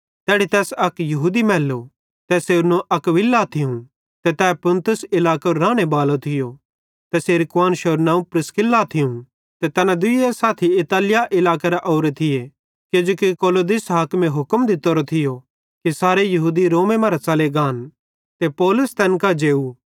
तैड़ी तैस अक यहूदी मैल्लो तैसेरू नवं अक्विला थियूं ते तै पुन्तुस इलाकेरो रानेबालो थियो ते तैसेरी कुआन्शरू नवं प्रिस्किल्ला थियूं ते दुइये साथी इतालिया इलाकेरां ओरां थियां किजोकि क्लौदियुस हाकिमे हुक्म दित्तोरो थियो कि सारे यहूदी रोमे मरां च़ले गान ते पौलुस तैन कां जेव